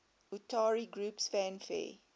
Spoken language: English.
utari groups fanfare